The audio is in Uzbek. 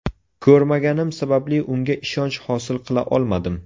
Ko‘rmaganim sababli unga ishonch hosil qila olmadim.